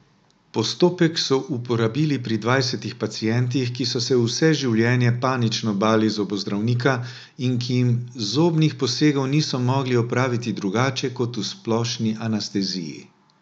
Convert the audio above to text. Postopek so uporabili pri dvajsetih pacientih, ki so se vse življenje panično bali zobozdravnika in ki jim zobnih posegov niso mogli opraviti drugače kot v splošni anesteziji.